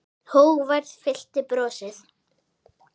Hógværð fyllti brosið.